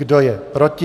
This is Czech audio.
Kdo je proti?